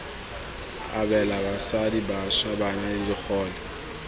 abela basadi bašwa bana digole